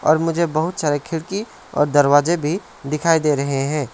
और मुझे बहुत सारे खिड़की और दरवाजे भी दिखाई दे रहे हैं।